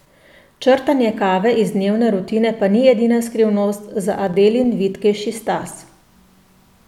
Črtanje kave iz dnevne rutine pa ni edina skrivnost za Adelin vitkejši stas.